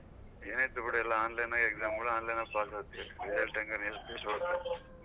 ಏನ್ ಐತೆ ಬಿಡು ಎಲ್ಲ online ನಾಗ್ exam ಗಳು online ಅಲ್ಲೇ pass ಆಗ್ತಿವಿ .